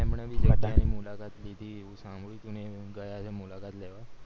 એમને ભી ત્યાં લીધી એવું સાંભળ્યું હતું મેં એમ ગયા છે મુલાકાત લેવા